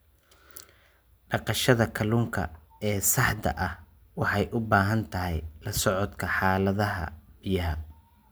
Dhaqashada kalluunka ee saxda ah waxay u baahan tahay la socodka xaaladaha biyaha.